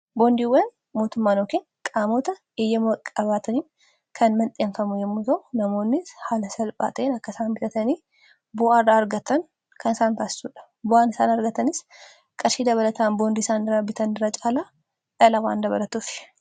Boondiiwwan mootummaan yookiin qaamoota eyyama qabaataniin kan mandheeffamu yommuu ta'u, namoonni haala salphaata'een akkasaan bitatanii bu'aa irraa argatanisaan faassuudha bu'an isaan argatanis qarshii dabalataan boondii isaan irraa bitan irraa caalaa dhala waan dabalatuuf.